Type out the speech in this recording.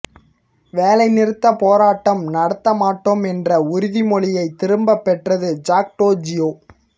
வேலை நிறுத்தப் போராட்டம் நடத்த மாட்டோம் என்ற உறுதிமொழியை திரும்பப் பெற்றது ஜாக்டோ ஜியோ